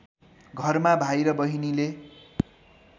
घरमा भाइ र बहिनीले